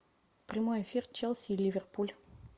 прямой эфир челси и ливерпуль